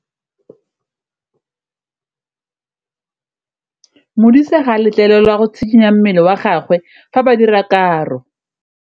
Modise ga a letlelelwa go tshikinya mmele wa gagwe fa ba dira karô.